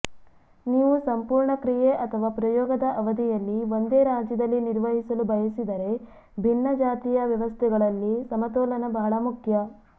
ನೀವು ಸಂಪೂರ್ಣ ಕ್ರಿಯೆ ಅಥವಾ ಪ್ರಯೋಗದ ಅವಧಿಯಲ್ಲಿ ಒಂದೇ ರಾಜ್ಯದಲ್ಲಿ ನಿರ್ವಹಿಸಲು ಬಯಸಿದರೆ ಭಿನ್ನಜಾತಿಯ ವ್ಯವಸ್ಥೆಗಳಲ್ಲಿ ಸಮತೋಲನ ಬಹಳ ಮುಖ್ಯ